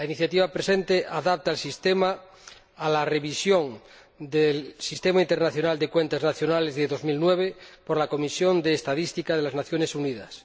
La presente iniciativa adapta el sistema a la revisión del Sistema Internacional de Cuentas Nacionales de 2009 por la Comisión de Estadística de las Naciones Unidas.